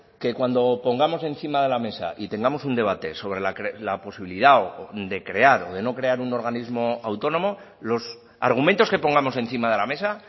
que cuando pongamos encima de la mesa y tengamos un debate sobre la posibilidad de crear o de no crear un organismo autónomo los argumentos que pongamos encima de la mesa